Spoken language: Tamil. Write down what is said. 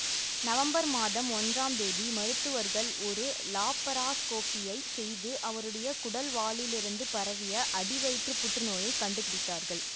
நவம்பர் மாதம் ஒன்றாம் தேதி மருத்துவர்கள் ஒரு லாப்பராஸ்கோபியை செய்து அவருடைய குடல்வாலிலிருந்து பரவிய அடிவயிற்று புற்றுநோயை கண்டுபிடித்தார்கள்